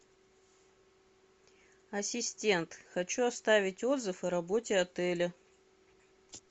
ассистент хочу оставить отзыв о работе отеля